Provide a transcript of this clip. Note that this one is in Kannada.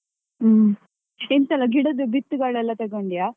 ಹ್ಮ್ ಎಂತೆಲ್ಲ ಗಿಡದು ಬಿತ್ತುಗಳೆಲ್ಲಾ ತಗೋಂಡಿಯಾ.